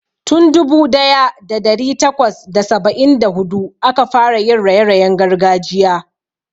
Tun dubu daya da dari takwas da saba'in da hudu aka fara yin raye-rayen gargajiya.